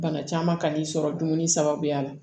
Bana caman ka n'i sɔrɔ dumuni sababuya la